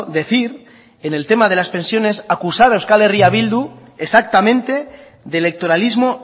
decir en el tema de las pensiones acusar a euskal herria bildu exactamente de electoralismo